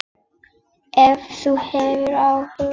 Ef þú hefur áhuga.